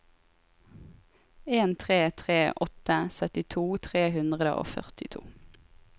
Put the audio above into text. en tre tre åtte syttito tre hundre og førtito